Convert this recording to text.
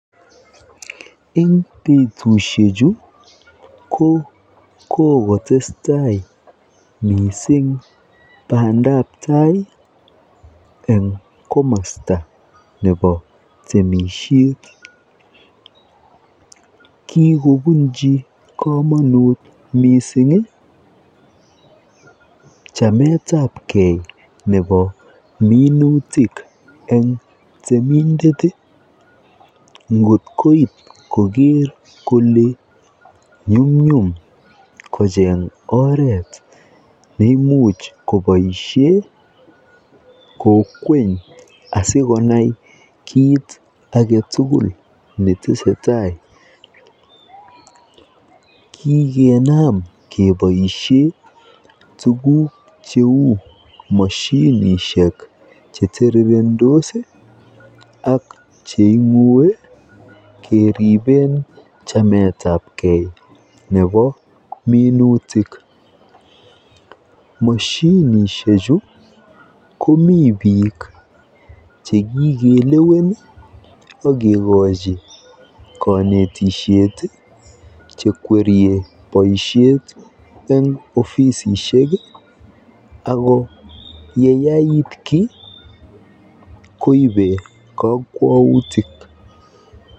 Eng betushek chu ko kokotestai mising bandabtai eng komasta nebo temisyet, kikobunchi kamanut mising chametabke nebo minutik eng temindet kot koit koger kole nyumnyum kocheng oret neimuchi koboisyen kokweny asikonai kit aketukul netesetai, kikenam keboisyen tukuk cheu mashinishek chetirirendos ak cheingue keriben chametabken nebo minutik, mashinishechu ko mi bik chekikelewen akikochi kanetisyet , chekwerie boisyet eng ofisisyek ako yeyait ki koibe kakwautik.